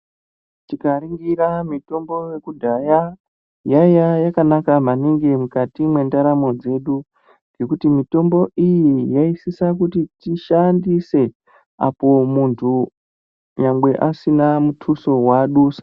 Tikaringira mitombo yekudhaya yaiva yakanaka maningi mukati mwendaramo dzedu ngekuti mitombo iyi yaisisa kuti tishandise apo mundu nyangwe asina mutuso wadusa.